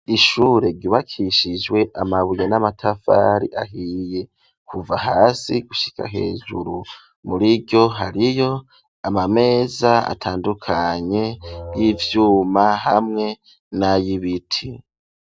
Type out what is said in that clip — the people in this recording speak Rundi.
Ishure ryubakishijwe amabuye n'amatafari ahiye kuva hasi gushika hejuru. Muriryo hariyo ama meza atandukanye y'ivyuma hamwe nay'ibiti.